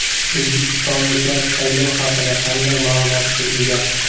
O‘zbekistonliklar saylov haqida qanday ma’lumotga ega?